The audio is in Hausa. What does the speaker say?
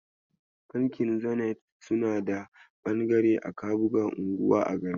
Bankin Zenith suna da bangare a kabuga, unguwa a garin Kano.